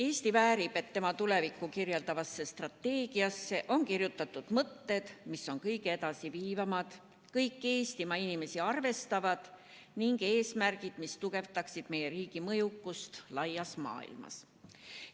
Eesti väärib, et tema tulevikku kirjeldavasse strateegiasse oleksid kirjutatud mõtted, mis on kõige edasiviivamad ja kõiki Eestimaa inimesi arvestavad, ning eesmärgid, mis tugevdaksid meie riigi mõjukust laias maailmas.